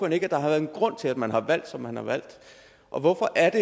ikke at der har været en grund til at man har valgt som man har valgt og hvorfor er